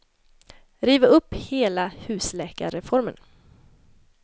Riv upp hela husläkarreformen!